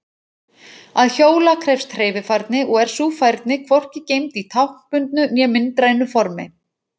Að hjóla krefst hreyfifærni og er sú færni hvorki geymd í táknbundnu né myndrænu formi.